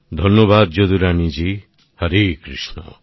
ধন্যবাদ যদুরানী জি হরেকৃষ্ণ